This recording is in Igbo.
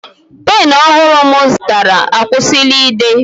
Pen ọhụrụ m zụtara akwụsịla ide